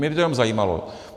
Mě by to jenom zajímalo.